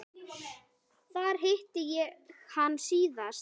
Þar hitti ég hann síðast.